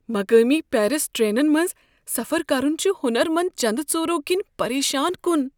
مقٲمی پیرس ٹرینن منٛز سفر کرن چُھ ہُنر مند چندٕ ژوٗرو كِنہِ پریشان كٖن ۔